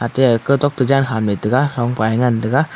atai ga thon toh jan ham taiga ronpa ya ngan taiga.